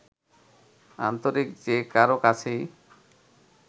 আন্তরিক যে কারও কাছেই